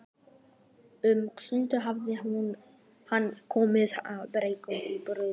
Um sumarið hafði hann komið í Brokey á Breiðafirði.